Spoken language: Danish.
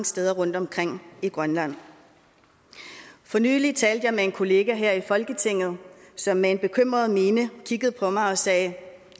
steder rundtomkring i grønland for nylig talte jeg med en kollega her i folketinget som med en bekymret mine kiggede på mig og sagde